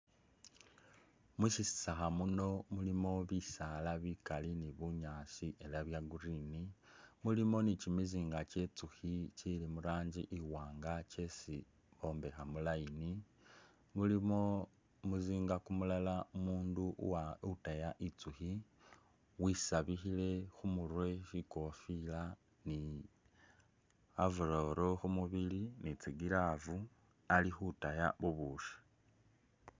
Mushitsakha muno mulimo bisaala bikali ni bunyaasi ela bya green, mulimo ni kimizinga kye nzukhi kili mu rangi iwaanga kyesi bombekha mu line. Mulimo kumuzinga kumulala umuundu uwa utaya inzukhi wisabikhile khumurwe shikofila, ni overall khu mubili, ni tsi glove ali khutaya bubushi.